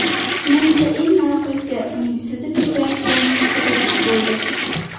Menimcha, eng maroqlisi uning suzib ketayotganini kuzatish bo‘ldi.